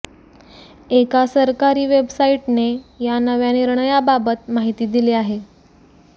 एका सरकारी वेबसाईटने या नव्या निर्णयाबाबत माहिती दिली आहे